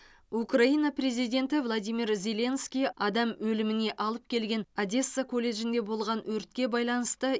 украина президенті владимир зеленский адам өліміне алып келген одесса колледжінде болған өртке байланысты